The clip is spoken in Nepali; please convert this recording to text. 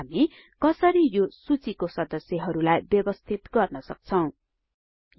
हामी कसरी यो सूचीको सदस्यहरुलाई ब्यबस्थित गर्न सक्छौं